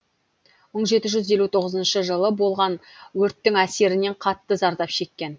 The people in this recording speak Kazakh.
мың жеті жүз елу тоғызыншы жылы болған өрттің әсерінен қатты зардап шеккен